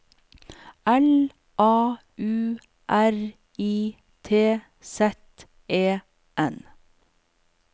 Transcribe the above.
L A U R I T Z E N